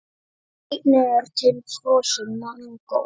Einnig er til frosið mangó.